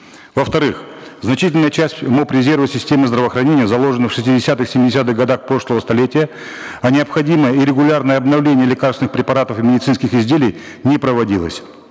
во вторых значительная часть моб резерва системы здравоохранения заложена в шестидесятых семидесятых годах прошлого столетия а необходимое и регулярное обновление лекарственных препаратов и медицинских изделий не проводилось